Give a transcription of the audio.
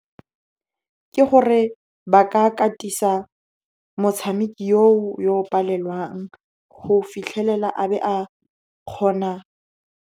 Ke gore ba ka katisa motshameki yo o yo palelwang go fitlhelela a be a kgona.